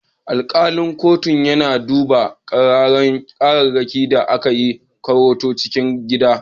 Alkalin kotun yana duba kararrakin da ake yi a kotun cikin gida.